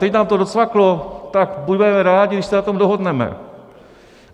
Teď vám to docvaklo, tak budeme rádi, když se na tom dohodneme.